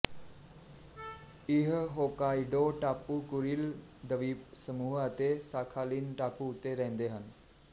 ਇਹ ਹੋੱਕਾਇਡੋ ਟਾਪੂ ਕੁਰਿਲ ਦਵੀਪਸਮੂਹ ਅਤੇ ਸਾਖਾਲਿਨ ਟਾਪੂ ਉੱਤੇ ਰਹਿੰਦੇ ਹਨ